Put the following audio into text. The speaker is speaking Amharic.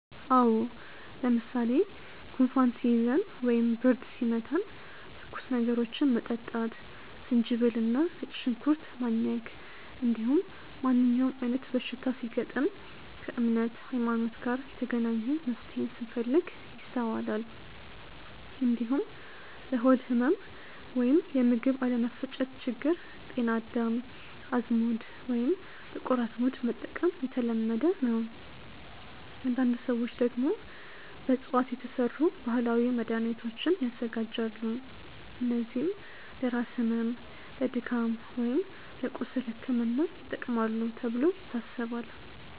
አዎ። ለምሳሌ ጉንፋን ሲይዘን ወይም ብርድ ሲመታን ትኩስ ነገሮችን መጠጣት፣ ዝንጅብል እና ነጭ ሽንኩርት ማኘክ፣ እንዲሁም ማንኛውም አይነት በሽታ ሲገጥም ከእምነት (ሀይማኖት) ጋር የተገናኘ መፍትሄን ስንፈልግ ይስተዋላል። እንዲሁም ለሆድ ህመም ወይም የምግብ አለመፈጨት ችግር ጤና አዳም፣ አዝሙድ ወይም ጥቁር አዝሙድ መጠቀም የተለመደ ነው። አንዳንድ ሰዎች ደግሞ በእፅዋት የተሰሩ ባህላዊ መድሃኒቶችን ያዘጋጃሉ፣ እነዚህም ለራስ ህመም፣ ለድካም ወይም ለቁስል ሕክምና ይጠቅማሉ ተብሎ ይታሰባል።